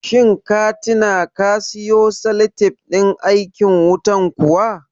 Shin ka tina ka siyo salatif ɗin aikin wutan kuwa?